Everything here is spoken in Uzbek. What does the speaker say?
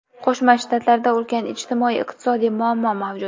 Qo‘shma Shtatlarda ulkan ijtimoiy-iqtisodiy muammo mavjud.